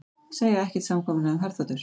Segja ekkert samkomulag um herþotur